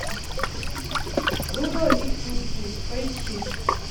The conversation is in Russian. рудо и курси поищи